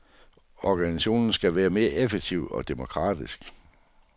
Organisationen skal være mere effektiv og demokratisk.